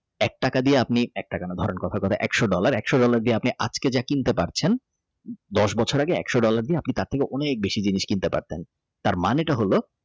এক টাকা দিয়ে আপনি ধরেন একশো dollar ছোট নদী আপনি যা আজকে কিনতে পারছেন দশ বছর আগে একশো dollar দিয়ে তার থেকে অনেক বেশি জিনিস কিনতে পারতেন তার মানেটা হল।